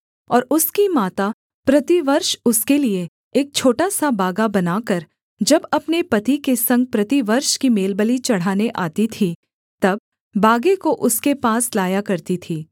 और उसकी माता प्रतिवर्ष उसके लिये एक छोटा सा बागा बनाकर जब अपने पति के संग प्रतिवर्ष की मेलबलि चढ़ाने आती थी तब बागे को उसके पास लाया करती थी